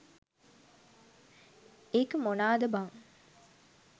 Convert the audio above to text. ඒක මොනාද බන්